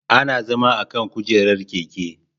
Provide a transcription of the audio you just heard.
Ana zama akan kujerar keke